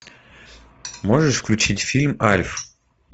можешь включить фильм альф